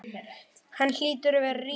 Hann hlýtur að vera ríkur.